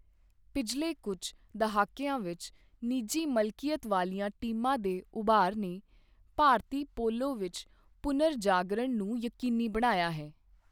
ਪਿਛਲੇ ਕੁੱਝ ਦਹਾਕਿਆਂ ਵਿੱਚ, ਨਿਜੀ ਮਲਕੀਅਤ ਵਾਲੀਆਂ ਟੀਮਾਂ ਦੇ ਉਭਾਰ ਨੇ ਭਾਰਤੀ ਪੋਲੋ ਵਿੱਚ ਪੁਨਰਜਾਗਰਣ ਨੂੰ ਯਕੀਨੀ ਬਣਾਇਆ ਹੈ।